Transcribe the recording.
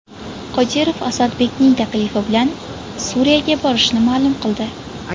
Qodirov Asadning taklifi bilan Suriyaga borishini ma’lum qildi.